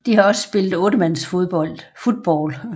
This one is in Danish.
De har også spillet 8 mands football